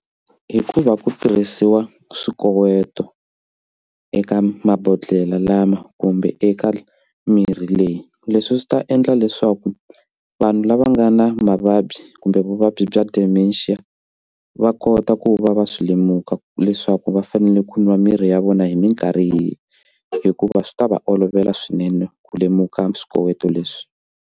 Hi ku va ku tirhisiwa swikoweto eka mabodhlele lama kumbe eka mirhi leyi leswi swi ta endla leswaku vanhu lava nga na mavabyi kumbe vuvabyi bya dementia va kota ku va va swi lemuka leswaku va fanele ku nwa mirhi ya vona hi mikarhi yihi hikuva swi ta va olovela swinene ku lemuka swikoweto leswi.